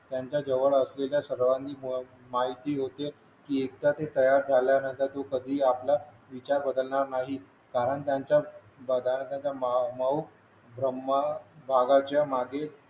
त्यांच्याजवळ असलेला सर्वांनी मायेचे योग्य एकदा ते तयार झाल्यानंतर तू कधी आहे आपला विचार बदलणार नाही कारण त्यांच्या बघायला तुमचा माणूस ब्रह्मा भागाच्या मागे